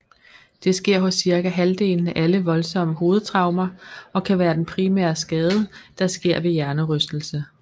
Det sker hos cirka halvdelen af alle voldsomme hovedtraumer og kan være den primære skade der sker ved hjernerystelse